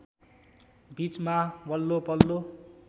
बीचमा वल्लो पल्लो